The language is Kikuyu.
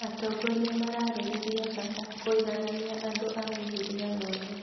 Atongoria mararĩrĩria bata kũiganania andũ a mĩhĩrĩga yothe